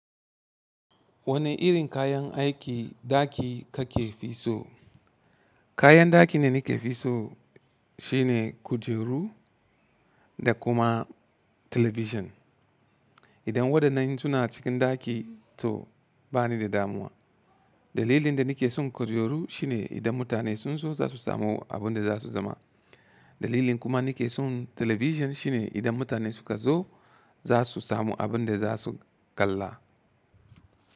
Wane irin kayan aikin ɗaki kake fisow? Kayan ɗaki da nike fisow shine kujeru da kuma talabijin. Idan wadannan suna cikin ɗaki to bani da damuwa. Dalilin da nike son kujeru shine idan mutane sun zo za su samu abinda za su zama. Dalilin kuma nike son talabijin shine idan mutane suka zo za su samu abinda za su kalla.